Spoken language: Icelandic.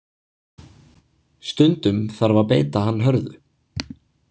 Stundum þarf að beita hann hörðu.